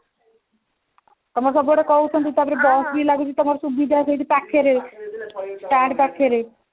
ତମର ସବୁଗୁଡା କହୁଛନ୍ତି ତାପରେ bus ବି ଲାଗୁଛି ତମର ସୁବିଧା ସେଇଠି ପାଖରେ stand ପାଖରେ